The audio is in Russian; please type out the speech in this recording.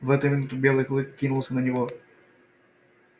в эту минуту белый клык кинулся на него